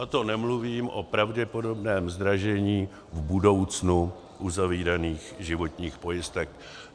A to nemluvím o pravděpodobném zdražení v budoucnu uzavíraných životních pojistek.